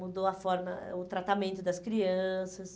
Mudou a forma, o tratamento das crianças.